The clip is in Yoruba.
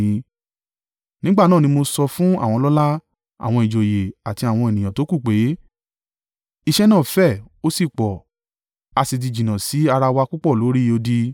Nígbà náà ni mo sọ fún àwọn ọlọ́lá, àwọn ìjòyè àti àwọn ènìyàn tókù pé, “Iṣẹ́ náà fẹ̀ ó sì pọ̀, a sì ti jìnnà sí ara wa púpọ̀ lórí odi.